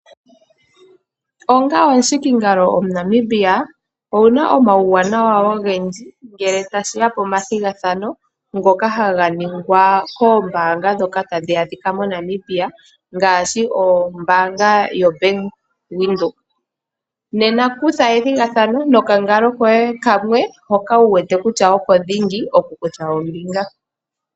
Onga omuhikingalo omuNamibia owuna omauwanawa ogendji ngele tashiya pomathigathano ngoka haga ningwa koombaanga ndhoka hadhi adhikwa moNamibia ngaashi ombaanga yoBank Windhoek. Nena kutha ethigathano nokangalo koye kamwe hoka wu wete kutya oko dhingi oku kutha ombinga.